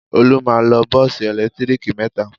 Olú máa ń lo bọ́ọ́sì ẹ̀lẹ́tíríkì mẹ́ta.